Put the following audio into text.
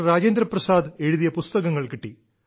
രാജേന്ദ്രപ്രസാദ് എഴുതിയ പുസ്തകങ്ങൾ കിട്ടി